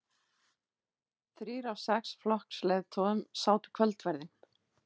Þrír af sex flokksleiðtogum sátu kvöldverðinn